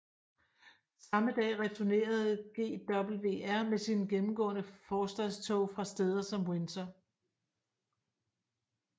Samme dag returnerede GWR med sine gennemgående forstadstog fra steder som Windsor